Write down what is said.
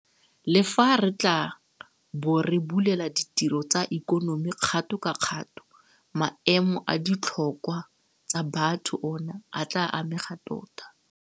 Le fa re tla bo re bulela ditiro tsa ikonomi kgato ka kgato, maemo a ditlhokwa tsa batho ona a tla amega tota.